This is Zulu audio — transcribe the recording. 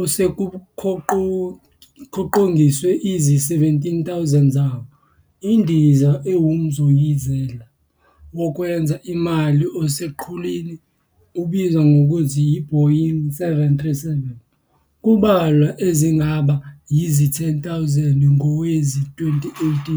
osekukhoqizwe izi-17,000 zawo. INdiza ewumzoyizelo wokwenza imali oseqhulwini ubizwa ngokuthi yi-"Boeing 737", kubalwa ezingaba yizi-10,000 ngowezi-2018.